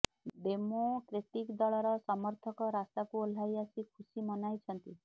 democratic ଦଳର ସମର୍ଥକ ରାସ୍ତାକୁ ଓହ୍ଲାଇ ଆସି ଖୁସି ମନାଇଛନ୍ତି